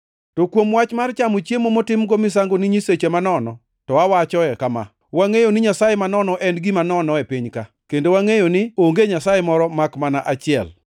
To kuom wach mar chamo chiemo motimgo misango ni nyiseche manono, to awachoe kama: Wangʼeyo ni “Nyasaye manono en gima nono e piny-ka,” kendo wangʼeyo ni “Onge Nyasaye moro makmana achiel.”